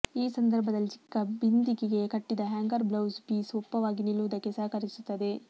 ಈ ಸಂದರ್ಭದಲ್ಲಿ ಚಿಕ್ಕ ಬಿಂದಿಗೆಗೆ ಕಟ್ಟಿದ ಹ್ಯಾಂಗರ್ ಬ್ಲೌಸ್ ಪೀಸ್ ಒಪ್ಪವಾಗಿ ನಿಲ್ಲುವುದಕ್ಕೆ ಸಹಕರಿಸುತ್ತದೆ